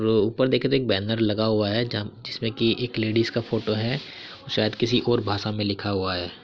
तो ऊपर देखे तो एक बैनर लगा हुआ है। जहाँ जिसमें कि एक लेडिस का फोटो है शायद किसी और भाषा में लिखा हुआ है।